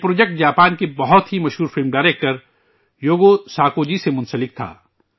یہ project Japan کے بہت ہی مشہور film director Yugo Sako ji سے جڑا ہوا تھا